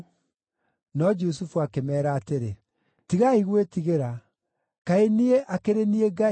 No Jusufu akĩmeera atĩrĩ, “Tigai gwĩtigĩra. Kaĩ niĩ akĩrĩ niĩ Ngai?